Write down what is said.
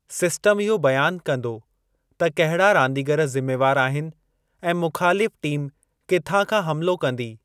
System इहो बयानु कंदो त कहिड़ा रांदीगर ज़िमेवार आहिनि ऐं मुख़ालिफ़ु टीम किथां खां हमलो कंदी।